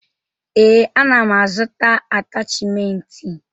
Ee, ana m azụta atachimentị.